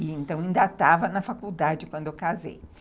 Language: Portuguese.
E então ainda estava na faculdade quando eu casei.